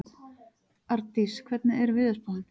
Ardís, hvernig er veðurspáin?